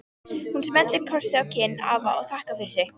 Hún smellir kossi á kinn afa og þakkar fyrir sig.